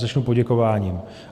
Začnu poděkováním.